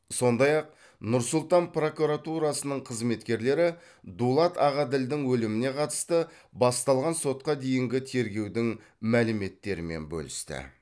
сондай ақ нұр сұлтан прокуратурасының қызметкерлері дулат ағаділдің өліміне қатысты басталған сотқа дейінгі тергеудің мәліметтерімен бөлісті